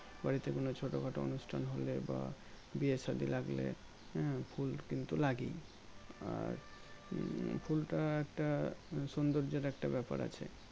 বাড়িতে কোনো ছোটো খাটো অনুষ্ঠান হলে বা বিয়ে सादी লাগলে হম ফুল কিন্তু লাগেই আর উম ফুলটা একটা সোন্দর্জর একটা ব্যাপার আছে